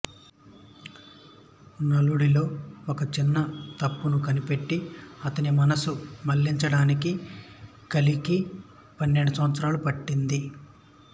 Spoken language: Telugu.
నలుడిలో ఒక చిన్న తప్పును కనిపెట్టి అతని మనసు మళ్ళించడానికి కలికి పన్నెండు సంవత్సరాలు పట్టింది